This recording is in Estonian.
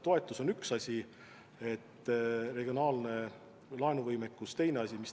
Toetus on üks asi, regionaalne laenuvõimekus teine asi.